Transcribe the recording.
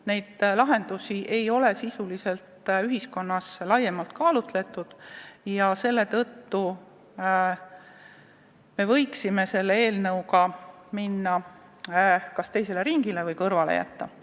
Neid lahendusi ei ole sisuliselt ühiskonnas laiemalt kaalutud ja selle tõttu võiksime eelnõuga minna kas teisele ringile või selle kõrvale jätta.